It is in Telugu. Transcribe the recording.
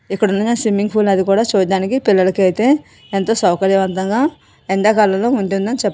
ఇక్కడ ఉన్నది స్విమ్మింగ్ ఫూల్ అది కూడా చూడడానికి పిల్లలకైతే ఎంతో సౌకర్యవంతంగా ఎండాకాలంలో ఉంటుందని చెప్పచ్చు.